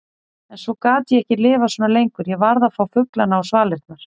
En svo gat ég ekki lifað svona lengur, ég varð að fá fuglana á svalirnar.